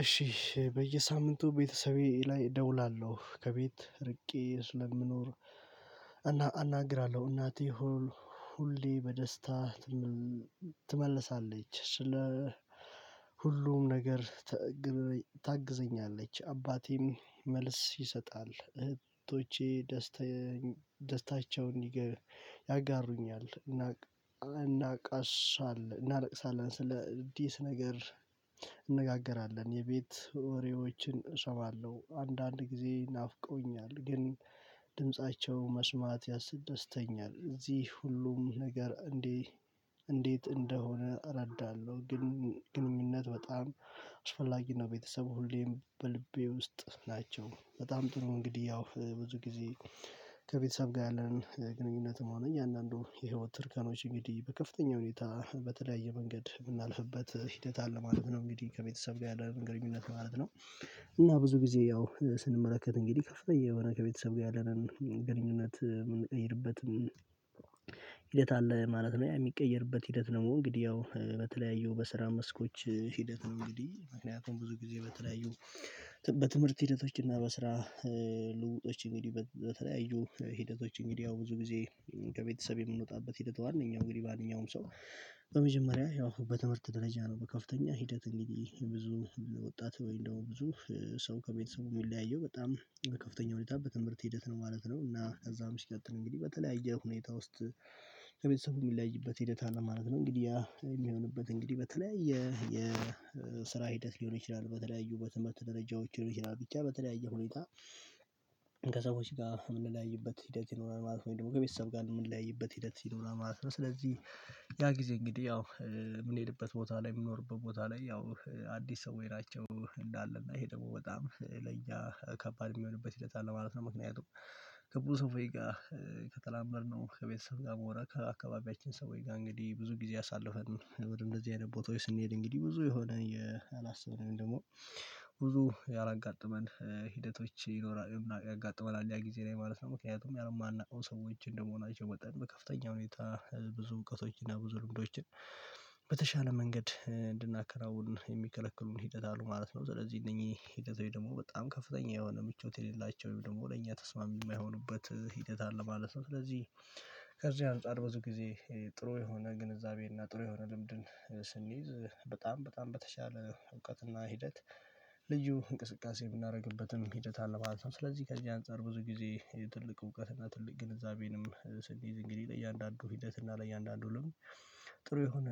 እሺ በየሳምንቱ ቤተሰቤ ላይ ደውላለሁ ከቤት ርቄ ስለምኖር እና አናግራለሁ እናቴ ሁሌ በደስታ ትመልሳለች ስለ ሁሉም ነገር ታግዘኛለች። አባቴም መልስ ይሰጣል እህቶቼ ደስታ ደስታቸውን ያጋሩኛል። እና እናቀሳለን እናለቅሳለን ስለ አዲስ ነገር እንነጋገራለን። የቤት ወሬዎችን እሰማለሁ አንዳንድ ጊዜ ናፍቆኛል ግን ድምፃቸው መስማት ያስደስተኛል። እዚህ ሁሉም ነገር እንዴ እንዴት እንደሆነ እረዳለሁ። ግን ግንኙነት በጣም አስፈላጊ ነው። ቤተሰብ ሁሌም በልቤ ውስጥ ናቸው። በጣም ጥሩ እንግዲህ ያው ብዙ ጊዜ ከቤተሰብ ጋር ያለንን ግንኙነትም ሆነ እያንዳንዱ የህይወት ትርገኖች እንግዲህ በከፍተኛ ሁኔታ በተለያየ መንገድ የምናልፍበት ሂደት አለ ማለት ነው። እንግዲህ ከቤተሰብ ጋር ያለ መገኘት ማለት ነው። እና ብዙ ጊዜ ያው ስንመለከት እንግዲህ ከፍተኛ የሆነ ከቤተሰብ ጋር ያለንን ግንኙነት የምንቀይርበትም አለ ማለት ነው። ያ የሚቀየርበት ሂደት ደግሞ እንግዲህ ያው በተለያዩ በስራ መስኮች ሂደት ነው። እንግዲህ ምክንያቱም ብዙ ጊዜ በተለያዩ በትምህርት ሂደቶች እና በስራ ልውውጦች እንግዲህ በተለያዩ ሂደቶች እንግዲህ ያው ብዙ ጊዜ ከቤተሰብ የምንወጣበት ሂደት ዋናኛው እንግዲህ ማንኛውም ሰው በመጀመሪያ ያው በትምህርት ደረጃ ነው። በከፍተኛ ሂደት እንግዲህ ብዙ ወጣት ወይ ደግሞ ብዙ ሰው ከቤተሰቡ የሚለያየው በጣም በከፍተኛ ሁኔታ በትምህርት ሂደት ነው ማለት ነው። እና ከዛም ሲቀጥል እንግዲህ በተለያየ ሁኔታ ውስጥ ከቤተሰቡ የሚለይበት ሂደት አለ ማለት ነው። እንግዲህ የሚሆንበት እንግዲህ በተለያየ የስራ ሂደት ሊሆን ይችላል። በተለያዩ በትምህርት ደረጃዎች ሊሆን ይችላል ብቻ በተለያየ ሁኔታ ከሰዎች ጋር የምንለያይበት ሂደት ይኖራል ማለት ወይ ደግሞ ከቤተሰብ ጋር የምንለያይበት ሂደት ይኖራል ማለት ነው። ስለዚህ ያ ጊዜ እንግዲህ ያው የምንሄድበት ቦታ ላይ የሚኖርበት ቦታ ላይ ያው አዲስ ሰዎች ናቸው እንዳለ እና ይሄ ደግሞ በጣም ለያ ከባድ የሚሆንበት ሂደት አለ ማለት ነው። ምክንያቱም ከብዙ ሰው ጋር ከተላመድነው ከቤተሰብ ጋር መሆን ከአካባቢያችን ሰው ጋር እንግዲህ ብዙ ጊዜ አሳለፈን ወደ እንደዚህ አይነት ቦታ ስንሄድ እንግዲህ ብዙ የሆነ ያላሰብነው ደግሞ ብዙ ያላጋጠመን ሂደቶች ይኖራል ያጋጥመናል ያ ጊዜ ላይ ማለት ነው። ምክንያቱም ማናውቀው ሰዎች እንደመሆናቸው መጠን በከፍተኛ ሁኔታ ብዙ እውቀቶችና ብዙ ልምዶችን በተሻለ መንገድ እንድናከራውን የሚከለክሉን ሂደት አሉ ማለት ነው። ስለዚህ እነኚህ ሂደት ወይ ደግሞ በጣም ከፍተኛ የሆነ ምቾት የሌላቸው ወይ ደግሞ ለእኛ ተስማሚ የማይሆኑበት ሂደት አለ ማለት ነው። ስለዚህ ከዚህ አንፃር ብዙ ጊዜ ጥሩ የሆነ ግንዛቤ ግንዛቤና ጥሩ የሆነ ልምድን ስንይዝ በጣም በጣም በተሻለ እውቀትና ሂደት ልዩ እንቅስቃሴ ምናደርግበትም ሂደት አለ። ማለትም ስለዚህ ከዚህ አንፃር ብዙ ጊዜ ትልቅ እውቀትና ትልቅ ግንዛቤንም ስንይዝ እንግዲህ ለእያንዳንዱ ሂደት እና ለእያንዳንዱ ልምድ ጥሩ የሆነ